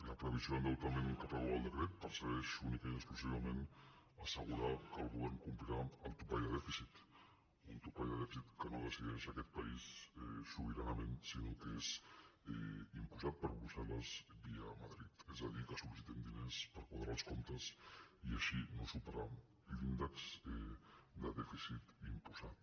la previsió d’endeutament que preveu el decret persegueix única·ment i exclusivament assegurar que el govern compli·rà el topall de dèficit un topall de dèficit que no de·cideix aquest país sobiranament sinó que és imposat per brussel·les via madrid és a dir que solners per quadrar els comptes i així no superar l’índex de dèficit imposat